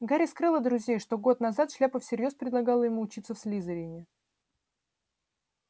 гарри скрыл от друзей что год назад шляпа всерьёз предлагала ему учиться в слизерине